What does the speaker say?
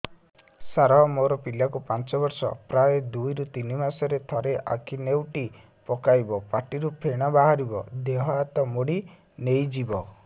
ସାର ମୋ ପିଲା କୁ ପାଞ୍ଚ ବର୍ଷ ପ୍ରାୟ ଦୁଇରୁ ତିନି ମାସ ରେ ଥରେ ଆଖି ନେଉଟି ପକାଇବ ପାଟିରୁ ଫେଣ ବାହାରିବ ଦେହ ହାତ ମୋଡି ନେଇଯିବ